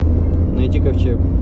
найди ковчег